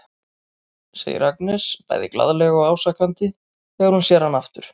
segir Agnes bæði glaðlega og ásakandi þegar hún sér hann aftur.